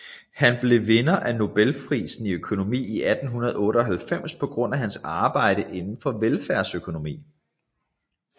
Han blev vinder af Nobelprisen i økonomi i 1998 på baggrund af hans arbejde inden for velfærdsøkonomi